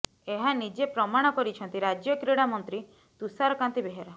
ଏହା ନିଜେ ପ୍ରମାଣ କରିଛନ୍ତି ରାଜ୍ୟ କ୍ରୀଡା ମନ୍ତ୍ରୀ ତୁଷାରକାନ୍ତି ବେହେରା